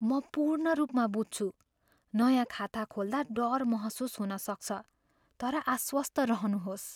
म पूर्ण रूपमा बुझ्छु। नयाँ खाता खोल्दा डर महसुस हुन सक्छ, तर आश्वस्त रहनुहोस्।